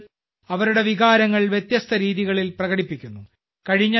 ആളുകൾ അവരുടെ വികാരങ്ങൾ വ്യത്യസ്ത രീതികളിൽ പ്രകടിപ്പിക്കുന്നു